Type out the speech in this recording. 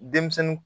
Denmisɛnnin